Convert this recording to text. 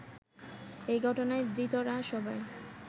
ওই ঘটনায় ধৃতেরা সবাই